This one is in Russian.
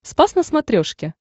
спас на смотрешке